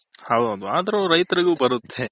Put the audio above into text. ಹೌದು ಅದ್ರು ರೈತರು ಗು ಬರುತೆ